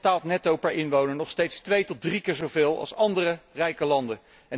Nederland betaalt netto per inwoner nog steeds twee tot drie keer zo veel als andere rijke landen.